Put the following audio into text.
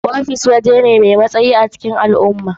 Ofis wuri ne da ke ba da matsayi mafi girma a cikin al'umma.